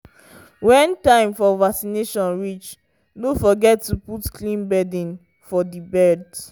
when time for vaccination reach no forget to put clean bedding for the birds.